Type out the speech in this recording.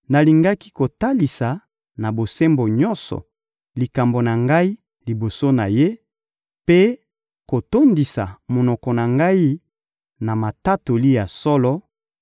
nalingaki kotalisa, na bosembo nyonso, likambo na ngai liboso na Ye, mpe kotondisa monoko na ngai na matatoli ya solo,